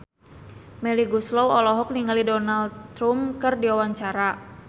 Melly Goeslaw olohok ningali Donald Trump keur diwawancara